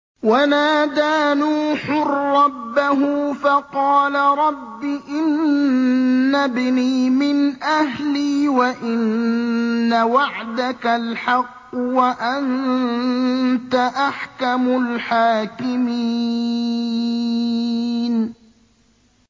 وَنَادَىٰ نُوحٌ رَّبَّهُ فَقَالَ رَبِّ إِنَّ ابْنِي مِنْ أَهْلِي وَإِنَّ وَعْدَكَ الْحَقُّ وَأَنتَ أَحْكَمُ الْحَاكِمِينَ